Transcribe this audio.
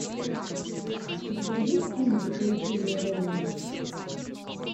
у тебя есть фильм приключения реми